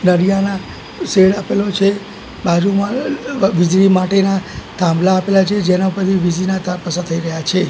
દરિયાના શૅડ આપેલો છે બાજુમાં વિજળી માટેના થાંભલા આપેલા છે જેના પરથી વિજળીના તાર પસાર થઈ રહ્યા છે.